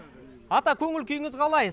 ата көңіл күйіңіз қалай